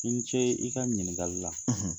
I ni ce i ka ɲiningali la.